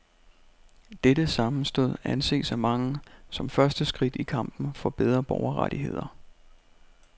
Dette sammenstød anses af mange som første skridt i kampen for bedre borgerrettigheder.